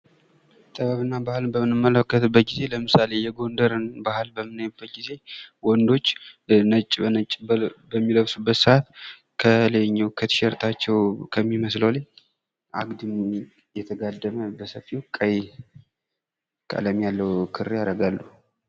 ጥበብና ባህልን በምናይበት ጊዜ ለምሳሌ፡-የጎንደርን ባህል ስናይ ወንዶች ነጭ በነጭ በሚለብሱበት ሰአት ከቲሸርታቸው ላይ አግድም ቀይ ክር ያደርጋሉ።